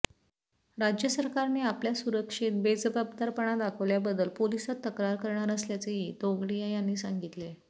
राज्य सरकारने आपल्या सुरक्षेत बेजबबादारपणा दाखल्याबद्दल पोलिसात तक्रार करणार असल्याचेही तोगडिया यांनी सांगितले